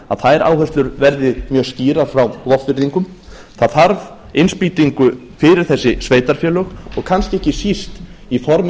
að þær áherslur verði mjög skýrar frá vopnfirðingum það þarf innspýtingu fyrir þessi sveitarfélög og kannski ekki síst í formi